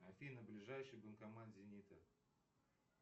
афина ближайший банкомат зенита